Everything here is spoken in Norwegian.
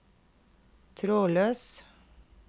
trådløs